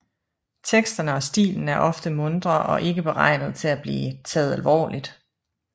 Teksterne og stilen er ofte muntre og ikke beregnet til at blive taget alvorligt